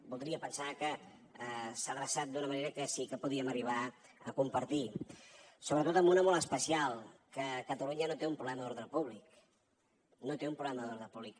voldria pensar que s’ha adreçat d’una manera que sí que podríem arribar a compartir sobretot en una molt especial que catalunya no té un problema d’ordre públic no té un problema d’ordre públic